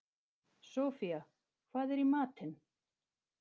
Sophia, hvað er í matinn?